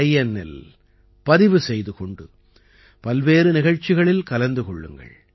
inஇல் பதிவு செய்து கொண்டு பல்வேறு நிகழ்ச்சிகளில் கலந்து கொள்ளுங்கள்